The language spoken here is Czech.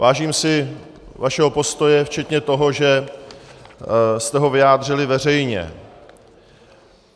Vážím si vašeho postoje včetně toho, že jste ho vyjádřili veřejně.